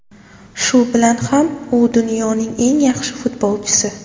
Shu bilan ham u dunyoning eng yaxshi futbolchisi.